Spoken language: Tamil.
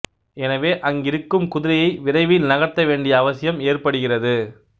எனவே அங்கிருக்கும் குதிரையை விரைவில் நகர்த்த வேண்டிய அவசியம் ஏற்படுகிறது